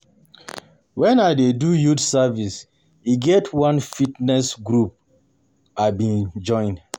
Wen I dey do youth service, e get one fitness group I bin join.